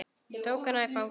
Ég tók hana í fangið.